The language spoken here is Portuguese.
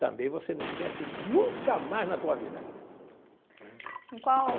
Também você não esquece nunca mais na tua vida né. Em qual.